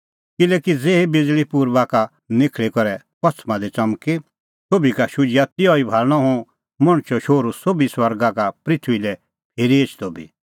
किल्हैकि ज़ेही बिज़ल़ी पुर्बा का निखल़ी करै पछ़मा दी च़मकदी सोभी का शुझिआ तिहअ भाल़णअ हुंह मणछो शोहरूओ सोभी स्वर्गा का पृथूई लै फिरी एछदअ बी